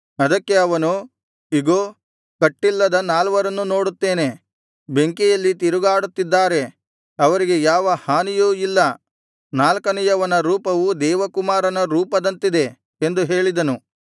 ಅದಕ್ಕೆ ಅವನು ಇಗೋ ಕಟ್ಟಿಲ್ಲದ ನಾಲ್ವರನ್ನು ನೋಡುತ್ತೇನೆ ಬೆಂಕಿಯಲ್ಲಿ ತಿರುಗಾಡುತ್ತಿದ್ದಾರೆ ಅವರಿಗೆ ಯಾವ ಹಾನಿಯೂ ಇಲ್ಲ ನಾಲ್ಕನೆಯವನ ರೂಪವು ದೇವಕುಮಾರನ ರೂಪದಂತಿದೆ ಎಂದು ಹೇಳಿದನು